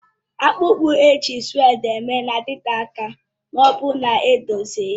Akpụkpọ ụkwụ ejiri sụ́wédi mee na-adịte aka ma ọ bụrụ na edozie ya